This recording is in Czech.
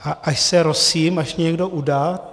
A až se rosím, až mě někdo udá.